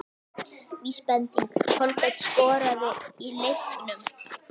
Vísbending: Kolbeinn skoraði í leiknum?